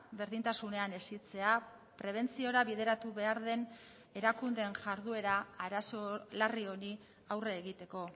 berdintasunean hezitzea prebentziora bideratu behar den erakundeen jarduera arazo larri honi aurre egiteko